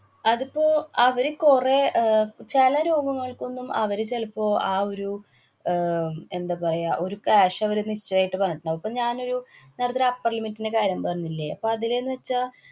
അതിപ്പോ അവര് കൊറേ, അഹ് ചെല രോഗങ്ങള്‍ക്കൊന്നും അവര് ചെലപ്പോ ആ ഒരു ആഹ് എന്താ പറയ്ക ഒരു കാശ് അവര് നിശ്ചായിട്ട് പറഞ്ഞിട്ടുണ്ടാവും. ഇപ്പൊ ഞാനൊരു നേരത്തെ ഒരു upper limit ന്‍റെ കാര്യം പറഞ്ഞില്ലേ. അപ്പ അതിലെന്ന് വച്ചാല്‍